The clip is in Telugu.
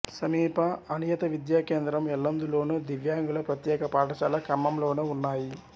సమీప అనియత విద్యా కేంద్రం ఎల్లందులోను దివ్యాంగుల ప్రత్యేక పాఠశాల ఖమ్మంలోనూ ఉన్నాయి